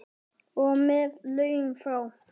Og með lögum frá